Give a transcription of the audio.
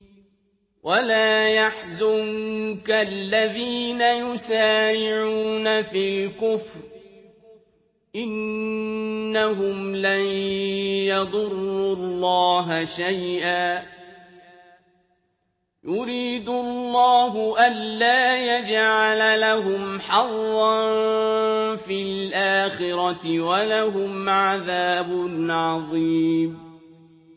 وَلَا يَحْزُنكَ الَّذِينَ يُسَارِعُونَ فِي الْكُفْرِ ۚ إِنَّهُمْ لَن يَضُرُّوا اللَّهَ شَيْئًا ۗ يُرِيدُ اللَّهُ أَلَّا يَجْعَلَ لَهُمْ حَظًّا فِي الْآخِرَةِ ۖ وَلَهُمْ عَذَابٌ عَظِيمٌ